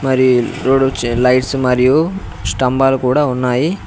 మరి లైట్స్ మరియు స్తంభాలు కూడా ఉన్నాయి.